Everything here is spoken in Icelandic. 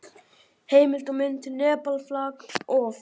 Heimildir og mynd: Nepal, flag of.